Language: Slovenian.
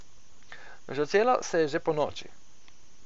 Začelo se je že ponoči.